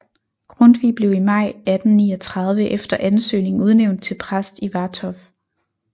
Grundtvig blev i maj 1839 efter ansøgning udnævnt til præst i Vartov